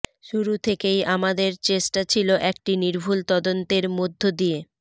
শুরু থেকেই আমাদের চেষ্টা ছিল একটি নির্ভুল তদন্তের মধ্য দিয়ে